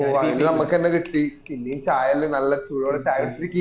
ഓ അഴിന് നമ്മക്ക് എന്നെ കിട്ടി പിന്നേം ചായാല് നല്ല ചൂടോടെ ചായ കുടിച്